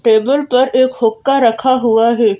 Table पर एक हुक्का रखा हुआ है।